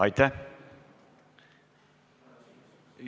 Aitäh!